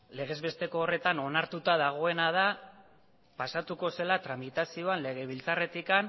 legez besteko horretan onartuta dagoena da pasatuko zela tramitazioan legebiltzarretik